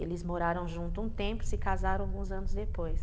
Eles moraram junto um tempo, se casaram alguns anos depois.